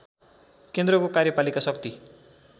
केन्द्रको कार्यपालिका शक्ति